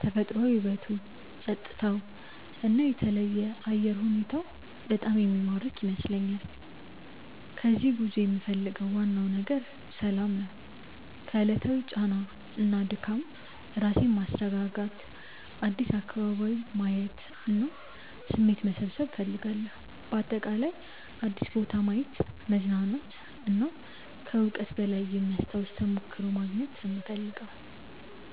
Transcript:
ተፈጥሯዊ ውበቱ፣ ጸጥታው እና የተለየ አየር ሁኔታው በጣም የሚማርክ ይመስለኛል። ከዚህ ጉዞ የምፈልገው ዋናው ነገር ሰላም ነው። ከዕለታዊ ጫና እና ድካም ራሴን ማስረጋጋት፣ አዲስ አካባቢ ማየት እና አዲስ ስሜት መሰብሰብ እፈልጋለሁ። በአጠቃላይ አዲስ ቦታ ማየት፣ መዝናናት እና ከዕውቀት በላይ የሚያስታውስ ተሞክሮ ማግኘት ነው የምፈልገው።